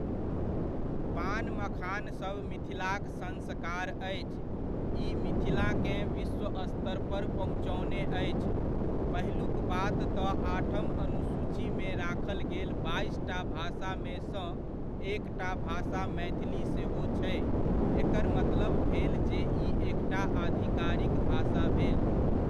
पान मखानसभ मिथिलाक संस्कार अछि, ई मिथिलाकेँ विश्व स्तरपर पहुँचओने अछि, पहिलुक बात तऽ आठम अनुसूचीमे राखल गेल बाइसटा भाषामेसँ एकटा भाषा मैथिली सेहो छै, एकर मतलब भेल जे ई एकटा अधिकारिक भाषा भेल।